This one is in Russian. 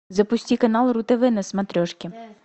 запусти канал ру тв на смотрешке